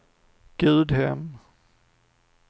Gudhem